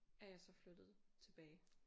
Er jeg så flyttet tilbage